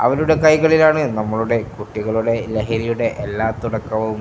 അവരുടെ കൈകളിലാണ് നമ്മുടെ കുട്ടികളുടെ ലഹരിയുടെ എല്ലാ തുടക്കവും.